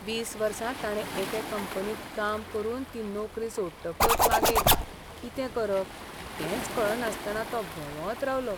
वीस वर्सां ताणें एके कंपनींत काम करून ती नोकरी सोडटकच मागीर कितें करप तेंच कळनासतना तो भोंवत रावलो.